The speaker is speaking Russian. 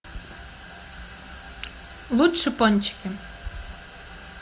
лучше пончики